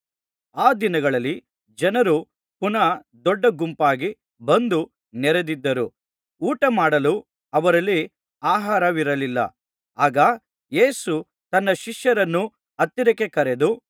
ಆ ದಿನಗಳಲ್ಲಿ ಜನರು ಪುನಃ ದೊಡ್ಡಗುಂಪಾಗಿ ಬಂದು ನೆರೆದಿದ್ದರು ಊಟಮಾಡಲು ಅವರಲ್ಲಿ ಆಹಾರವಿರಲಿಲ್ಲ ಆಗ ಯೇಸು ತನ್ನ ಶಿಷ್ಯರನ್ನು ಹತ್ತಿರಕ್ಕೆ ಕರೆದು